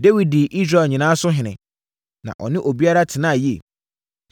Dawid dii Israel nyinaa so ɔhene, na ɔne obiara tenaa yie.